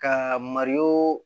Ka mariso